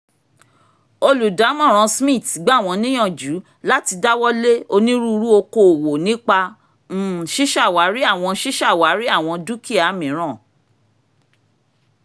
olùdámọ̀ràn smiths gbà wọ́n níyànjú láti dáwọ́lé onírúurú oko òwò nípa um ṣíṣàwárí àwọn ṣíṣàwárí àwọn dúkìá míràn